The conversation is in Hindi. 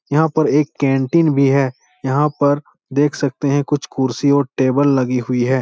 यहाँ पर एक कैंटीन भी है । यहाँ पर देख सकते हैं । कुछ कुर्सी और टेबल लगी हुई है ।